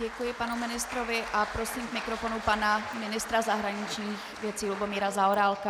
Děkuji panu ministrovi a prosím k mikrofonu pana ministra zahraničních věcí Lubomíra Zaorálka.